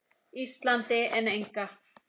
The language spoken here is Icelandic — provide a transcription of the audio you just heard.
Íslandi en enga.